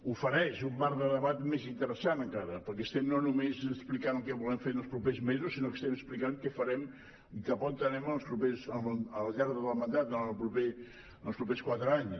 ofereix un marc de debat més interessant encara perquè estem no només explicant el que volem fer els propers mesos sinó que estem explicant què farem i cap a on anem al llarg del mandat durant els propers quatre anys